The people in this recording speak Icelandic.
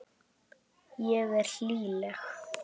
Ég er hlýleg.